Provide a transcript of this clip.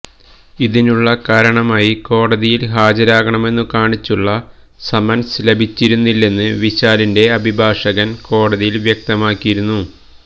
ഇതിനുള്ള കാരണമായി കോടതിയില് ഹാജരാകണമെന്ന് കാണിച്ചുള്ള സമന്സ് ലഭിച്ചിരുന്നില്ലെന്ന് വിശാലിന്റെ അഭിഭാഷകന് കോടതിയില് വ്യക്തമാക്കിയിരുന്നു